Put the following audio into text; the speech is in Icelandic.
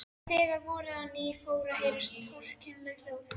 Þegar voraði á ný fóru að heyrast torkennileg hljóð.